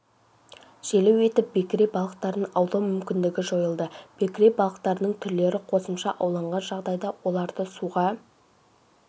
желеу етіп бекіре балықтарын аулау мүмкіндігі жойылды бекіре балықтарының түрлері қосымша ауланған жағдайда оларды суға